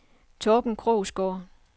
Torben Krogsgaard